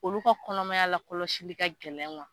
Olu ka kɔnɔmaya la kɔlɔsili ka gɛlɛn